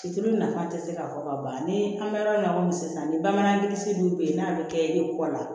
Cilo nafa tɛ se ka fɔ ka ban ni an bɛ yɔrɔ min na i komi sisan ni bamanan kisi dun bɛ yen n'a bɛ kɛ e kɔ la